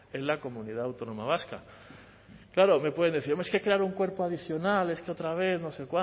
en la comunidad autónoma vasca claro me pueden decir hombre es que crear un cuerpo adicional es que otra vez no sé